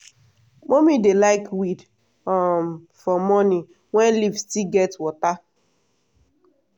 mummy dey like weed um for morning when leaf still get water.